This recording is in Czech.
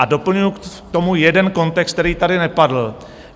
A doplňuji k tomu jeden kontext, který tady nepadl.